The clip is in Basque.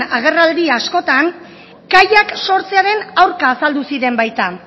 agerraldi askotan kaiak sortzearen aurka azaldu ziren baita